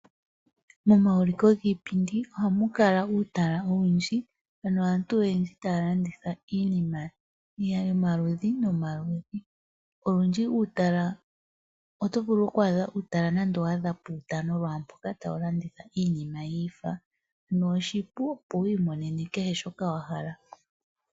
Momauliko giipindi ohamu kala uutala owundji naantu oyendji taya landitha iinima yomaludhi nomaludhi. Olundji uutala oto vulu oku wu a dha nande opuutano tawu landitha iinima yiifana noshipu opo wu i monene shoka wahala.